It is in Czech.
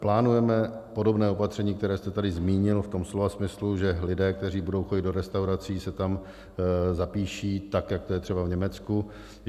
Plánujeme podobná opatření, která jste tady zmínil, v tom slova smyslu, že lidé, kteří budou chodit do restaurací, se tam zapíší tak, jako to je třeba v Německu.